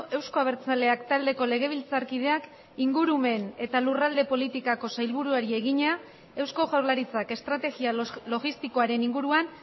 euzko abertzaleak taldeko legebiltzarkideak ingurumen eta lurralde politikako sailburuari egina eusko jaurlaritzak estrategia logistikoaren inguruan